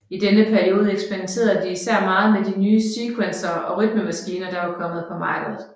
I denne periode eksperimenterede de især meget med de nye sequencere og rytmemaskiner der var kommet på markedet